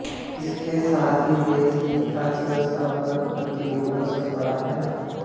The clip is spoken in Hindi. इसके साथ ही देश की अर्थव्यवस्था पर भी प्रतिकूल असर पड़ा है